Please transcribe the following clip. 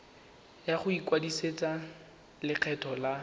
ya go ikwadisetsa lekgetho la